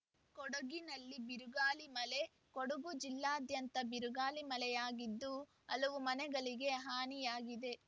ಕೊಡಗಿನಲ್ಲಿ ಬಿರುಗಾಳಿ ಮಳೆ ಕೊಡಗು ಜಿಲ್ಲಾದ್ಯಂತ ಬಿರುಗಾಳಿ ಮಳೆಯಾಗಿದ್ದು ಹಲವು ಮನೆಗಳಿಗೆ ಹಾನಿಯಾಗಿದೆ